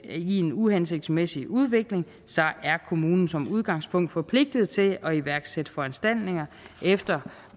i en uhensigtsmæssig udvikling så er kommunen som udgangspunkt forpligtet til at iværksætte foranstaltninger efter